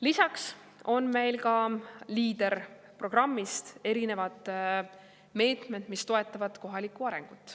Lisaks on meil LEADER-programmist erinevad meetmed, mis toetavad kohalikku arengut.